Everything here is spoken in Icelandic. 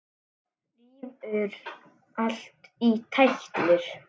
En sárin urðu fleiri.